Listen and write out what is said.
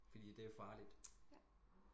Fordi det er farligt